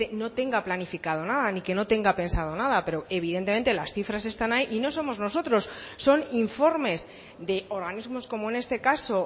no tenga planificado nada ni que no tenga pensado nada pero evidentemente las cifras están ahí y no somos nosotros son informes de organismos como en este caso